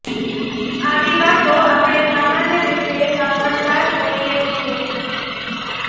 આવી વાતો આપણે સામાન્ય રીતે સાંભળતા જ હોઈએ છીએ